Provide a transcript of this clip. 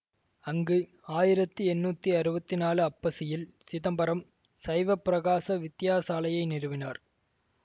அங்கு ஆயிரத்தி எண்ணூத்தி அறுவத்தி நாலு ஐப்பசியில் சிதம்பரம் சைவப்பிரகாச வித்தியாசாலையை நிறுவினார்